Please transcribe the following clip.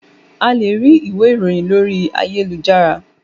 A lè rí ìwé ìròhìn lórí ayélujára.